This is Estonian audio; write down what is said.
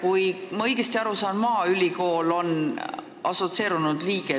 Kui ma õigesti aru saan, on maaülikool juba selle assotsieerunud liige